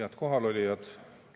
Head kohalolijad!